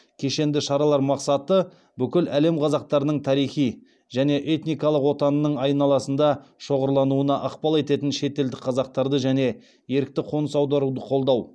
кешенді шаралар мақсаты бүкіл әлем қазақтарының тарихи және этникалық отанының айналасында шоғырлануына ықпал ететін шетелдік қазақтарды және ерікті қоныс аударуды қолдау